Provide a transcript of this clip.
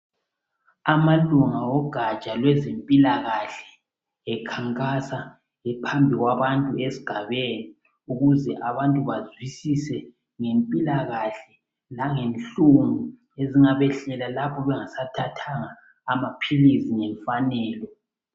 Amalunga ogaja lwezempilakahle ekhankasa ephambi kwabantu esigabeni ukuze abantu bazwisise ngempilakahle langenhlungu ezingabehlela lapho bengasathathanga amaphilisi ngemfanelo.